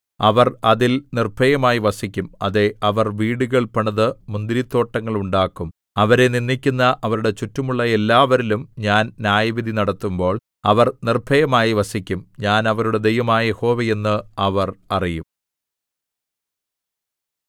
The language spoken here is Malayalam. അവർ അതിൽ നിർഭയമായി വസിക്കും അതെ അവർ വീടുകൾ പണിത് മുന്തിരിത്തോട്ടങ്ങൾ ഉണ്ടാക്കും അവരെ നിന്ദിക്കുന്ന അവരുടെ ചുറ്റുമുള്ള എല്ലാവരിലും ഞാൻ ന്യായവിധി നടത്തുമ്പോൾ അവർ നിർഭയമായി വസിക്കും ഞാൻ അവരുടെ ദൈവമായ യഹോവ എന്ന് അവർ അറിയും